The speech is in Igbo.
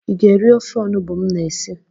Ị ga-eri ofe onubu m na esi?